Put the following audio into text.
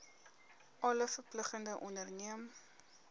alle verpligtinge onderneem